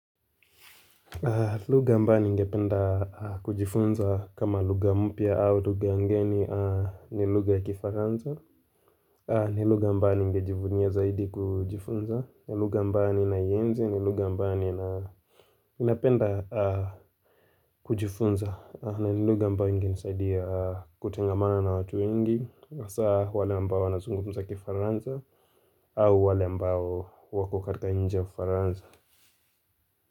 Luga ambayo ni ngependa kujifunza kama luga mpia au luga ngeni ni luga ya kifaranza ni luga ambalo ungejivunia zaidi kujifunza ni luga ambayo ni naienzi, niluga ambayo ni napenda kujifunza na ni luga mbao ingenisaidia kutengamana na watu wengi hasa wale ambao wanazungumza kifaranza au wale mbao wako katika nje kifaranza.